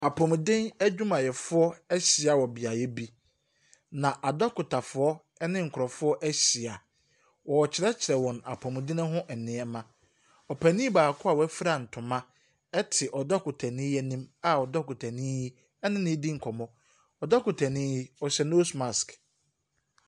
Apomuden adwumayɛfoɔ ahyia wɔ beaeɛ bi, na adɔkotafoɔ ne nkurɔfoɔ ahyia. Wɔrekyerɛkyerɛ wɔn apomuden ho nneɛma. Ɔpanin baako a wafura ntoma te dɔkotani yi anim a dɔkotani yi ne no redi nkɔmmɔ. Dɔkotano yi, ɔhyɛ nose mask.